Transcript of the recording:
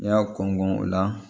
N'i y'a kɔn kɔn o la